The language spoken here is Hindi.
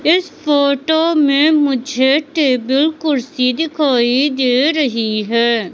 इस फोटो में मुझे टेबल कुर्सी दिखाई दे रही है।